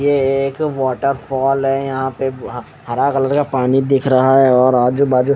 ये एक water falls है यहाँ पे और हरा कलर का पानी दिख रहा है और आजुबाजु--